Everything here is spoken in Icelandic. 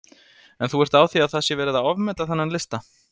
En þú ert á því að það sé verið að ofmeta þennan lista?